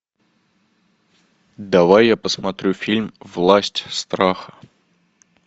давай я посмотрю фильм власть страха